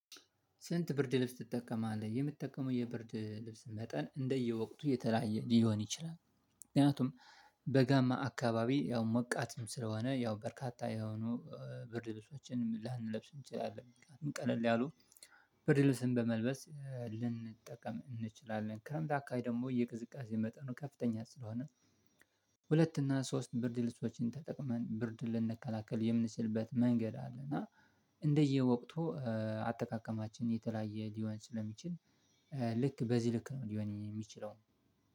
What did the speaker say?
ስንት ብርድ ልብስ ትጠቀማለህ የምትጠቀመው የብርድ ልብስ መጠን እንደየወቅቱ የተለያየ ሊሆን ይችላል? ምክንያቱም በጋማ አካባቢ ያው ሞቃትም ስለሆነ ያው በርካታ የሆኑ ብር ልብሶችን ላንለብስ እንችላለን። ብርድልብስን በመልበስ ልንጠቀም እንችላለን ክረምት አካባቢ ደግሞ የቅዝቃዜ መጠኑ ከፍተኛ ስለሆነ ሁለት እና ሶስት ብርድ ብርድ ልብሶችን ተጠቅመን ብርድ ልንከላከል የምንሰልበት መንገድ አለ። እና እንደየወቅቱ አጠቃቀማችን የተለያየ ሊሆን ስለሚችል ልክ በዚህ ልክ ነው ሊሆን የሚችለው